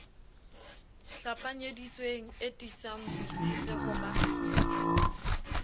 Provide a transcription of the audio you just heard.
hlapanyeditsweng e tiisang boitshetleho ba